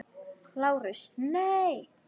LÁRUS: Nei!